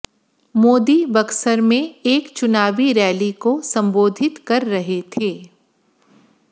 मोदी बक्सर में एक चुनावी रैली को संबोधित कर रहे थे